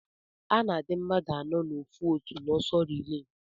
Ana adi mmadu anọ na ofu otu na ọsọ rile.